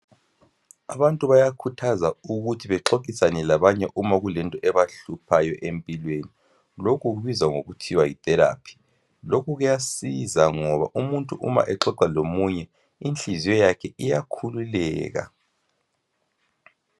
abantu bayakhuthaza ukuthi baxoxisane labanye uma kulento ebahluphayo empilweni lokhu kubizwa ngokuthiwa yi therapy lokhu kuyasiza ngoba uma umuntu exoxa lomunye inhliziyo yakhe iyakhululeka